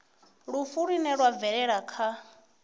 lufu lune lwa bvelela kha